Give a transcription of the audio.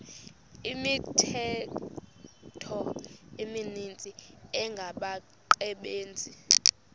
imithqtho emininzi engabaqbenzi